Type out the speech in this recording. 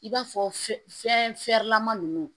I b'a fɔ fe fɛn fɛrɛlama ninnu